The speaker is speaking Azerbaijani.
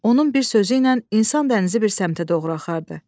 Onun bir sözü ilə insan dənizi bir səmtə doğru axardı.